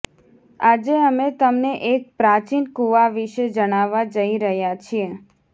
આજે અમે તમને એક પ્રાચીન કુવા વિષે જણાવવાં જઈ રહ્યા છીએ